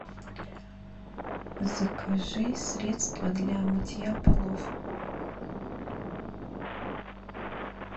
закажи средство для мытья полов